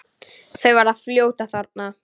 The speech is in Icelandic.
Þau verða fljót að þorna.